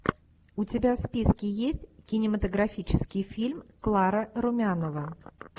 у тебя в списке есть кинематографический фильм клара румянова